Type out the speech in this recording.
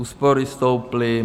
Úspory stouply.